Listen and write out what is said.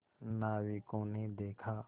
नाविकों ने देखा